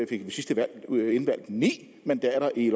ved sidste valg ni mandater i